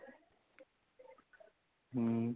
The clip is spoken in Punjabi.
ਹਮ